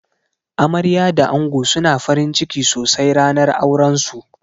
Amarya da ango suna farinciki sosai ranar auran su.